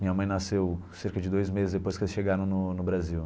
Minha mãe nasceu cerca de dois meses depois que eles chegaram no no Brasil.